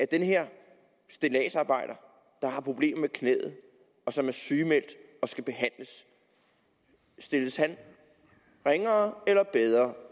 den her stilladsarbejder der har problemer med knæet og som er sygemeldt og skal behandles stilles ringere eller bedre